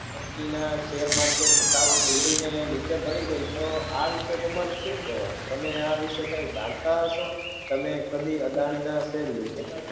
company ના share market ભાવ તોડી ને નીચે પડી ગઈ તો આ વીશ તમારું સુ કેવા નું તમે આવીશે કઈ જાણતા હસો તમે કદી અદાની ના share લીધેલા છે